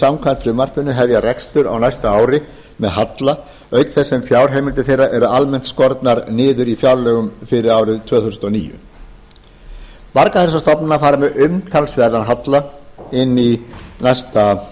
samkvæmt frumvarpinu hefja rekstur á næsta ári með halla auk þess sem fjárheimildir þeirra eru almennt skornar niður í fjárlögum fyrir árið tvö þúsund og níu margar þessar stofnanir fara með umtalsverðan halla inn í næsta